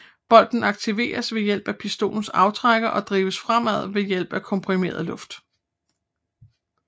Bolten aktiveres ved hjælp af pistolens aftrækker og drives fremad ved hjælp af komprimeret luft